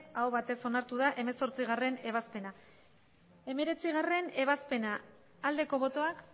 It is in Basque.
aho batez onartu da hemezortziebazpena hemeretzigarrena ebazpena aldeko botoak